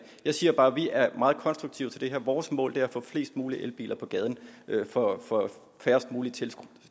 jeg siger bare at vi er meget konstruktive til det her vores mål er at få flest mulige elbiler på gaden for færrest mulige